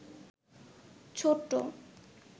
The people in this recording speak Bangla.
ছোট্ট